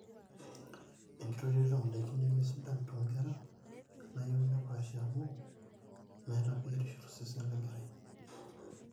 enkitotioto oondaiki nemesidan toonkera naayio nepaashi amu meeta biotishu tosesen lenkerai